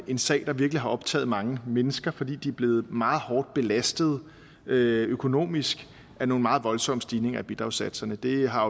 en sag der virkelig har optaget mange mennesker fordi de er blevet meget hårdt belastet økonomisk af nogle meget voldsomme stigninger i bidragssatserne det har